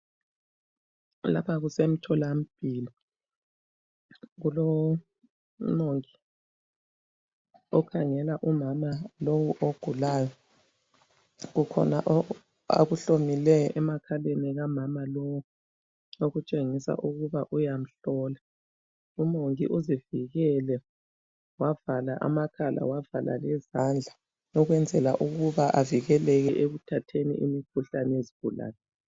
Lapha kusemtholampilo kuloMongi okhangela umama ogulayo. Kukhona akuhlomileyo emakhaleni kamama lowo okutshengìa ukuba uyamhlola. UMongi uzivikele wavala amakhala lezandla ukuba angathathi imikhuhlane yezigulane.